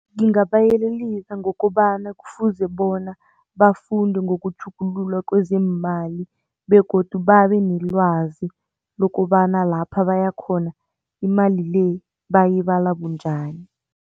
Ngingabayelelisa ngokobana kufuze bona bafunde ngokutjhugululwa kwezeemali begodu babe nelwazi lokobana lapha baya khona imali le bayibala bunjani.